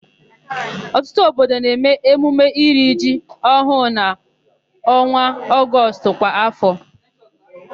Ọtụtụ obodo na-eme emume iri ji ọhụụ n'ọnwa Ọgọstụ kwa áfọ.